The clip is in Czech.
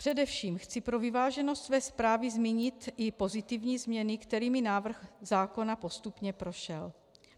Především chci pro vyváženost své zprávy zmínit i pozitivní změny, kterými návrh zákona postupně prošel.